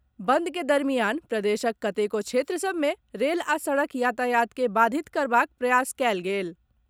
बंद के दरमियान प्रदेशक कतेको क्षेत्र सभ मे रेल आ सड़क यातायात के बाधित करबाक प्रयास कयल गेल।